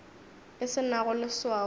e se nago leswao ke